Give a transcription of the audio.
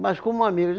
Mas como amigo?